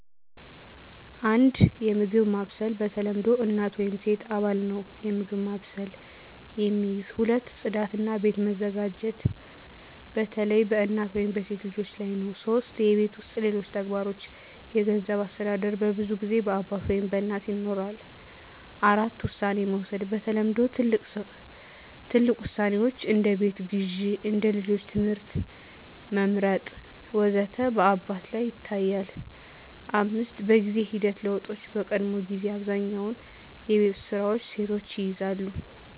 1. የምግብ ማብሰል በተለምዶ እናት ወይም ሴት አባል ነው የምግብ ማብሰልን የሚይዝ። 2. ጽዳት እና ቤት መዘጋጀት በተለይ በእናት ወይም በሴት ልጆች ላይ ነው 3. የቤት ውስጥ ሌሎች ተግባሮች የገንዘብ አስተዳደር በብዙ ጊዜ በአባት ወይም በእናት ይኖራል። 4. ውሳኔ መውሰድ በተለምዶ ትልቅ ውሳኔዎች (እንደ ቤት ግዢ፣ እንደ ልጆች ትምህርት መመርጥ ወዘተ) በአባት ላይ ይታያል፣ 5. በጊዜ ሂደት ለውጦች በቀድሞ ጊዜ አብዛኛውን የቤት ውስጥ ስራዎች ሴቶች ይይዛሉ